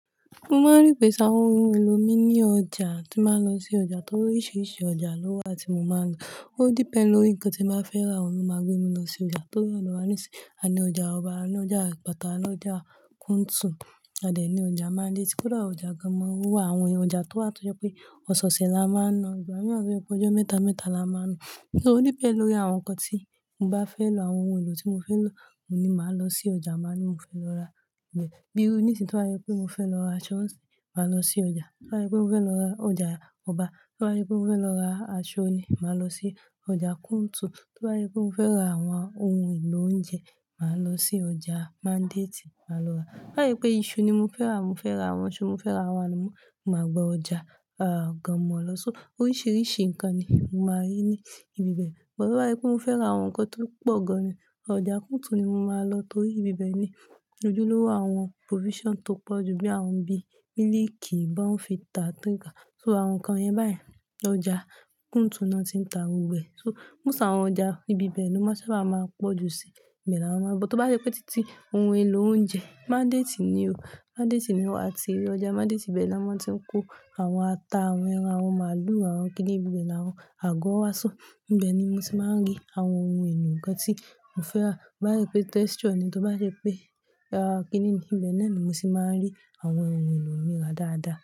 Mo máa rí pé ṣáwọn ohun èlò mi ní ọjà tí màá lọ sí ọjà torí oríṣiríṣi ọjà ló wà tí mo máa ń lọ. Ó depend lórí nǹkan tí bàá fẹ́ rà. Wọ́n máa gbé mi lọ sí ọjà tó wà níwàásù, àní ọjà ọba, àní ọjà àpáta, àní ọjà Kuntun, àdẹ́ ní ọjà Manditi. Kódà ọjà gámọ̀ wà, àwọn ọjà tó wà tó jẹ́ pé ọ̀sẹ̀ẹ̀sẹ̀ la máa ń lọ. Ìgbà mìíràn tó jẹ́ pé ọjọ́ mẹ́ta mẹ́ta la máa ń lọ. So ó depend lórí àwọn nǹkan tí mo bá fẹ́ lo, àwọn ohun èlò tí mo fẹ́ lo mo ní màá lọ sí ọjà màá ní mo fẹ́ lọ rà níbẹ̀. Bí iru ní sí tó bá jẹ pé mo fẹ́ lọ ra aṢọ̀ n sì, màá lọ sí ọjà. Tó bá jẹ pé mo fẹ́ lọ ra ọjà ọba, tó bá jẹ pé mo fẹ́ lọ ra aṣọ ní, màá lọ sí ọjà Kuntun. Tó bá jẹ pé mo fẹ́ ra àwọn ohun èlò oúnjẹ, màá lọ sí ọjà Manditi, màá lọ rà. toBá jẹ pé iṣu ni mo fẹ́ rà, mo fẹ́ ra àwọn iṣu, mo fẹ́ ra àwọn ànanmọ́, mo máa gba ọjà àá gámọ̀ lọ. So oríṣiríṣi nǹkan ni mo máa rí ní ibi bẹ́ẹ̀. Bo bá jẹ pé mo fẹ́ ra àwọn nǹkan tó pọ̀ gan-an ni, ọjà Kuntun ni mo máa lọ torí ibi bẹ́ẹ̀ ni ojúlówó àwọn provision tó pọ̀ jù bíi àwọn bíi mílíìkì, Bourn Fita, Tariga. So àwọn nǹkan yẹ́n bai ọjà Kuntun ni wọ́n ti ń ta gbogbo ẹ̀. So most sá àwọn ọjà, ibi bẹ́ẹ̀ ni mo sábà máa ń pọ̀ jù sí ìbẹ̀ làwọn máa bọ̀. Tó bá sẹ pé títí ohun èlò oúnjẹ Manditi ni o, Manditi ni o àti ọjà Manditi ibẹ́ẹ̀ ni wọ́n ti ń kó àwọn ata, àwọn ẹran, àwọn màálù, àwọn kílíìkì, ibẹ́ẹ̀ ni àwọn àgọ́ wá ṣó. Ìbẹ̀ ni mo ti máa ń rí àwọn ohun-èlò ǹkan tí mo fẹ́ rà. Bá sẹ pé texture ni, tó bá sẹ pé kínì ni, ibẹ́ẹ̀ náà ni mo ti máa rí àwọn ohun-èlò mi rà dáadáa.